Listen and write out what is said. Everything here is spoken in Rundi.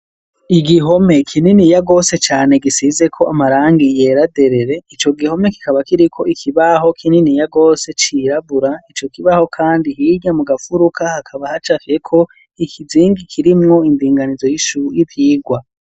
Igihome kinini yagose cane gisize ko amarangi yeraderere. Ico gihome kikaba kiri ko ikibaho kinini yagose cirabura ico kibaho kandi hirya mu gafuruka hakaba hacafye ko ikizingi kirimwo indinganizo y'ivyirwa.